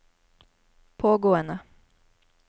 pågående